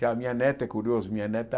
Já a minha neta, é curioso, minha neta,